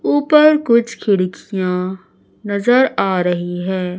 ऊपर कुछ खिड़कियां नजर आ रही है।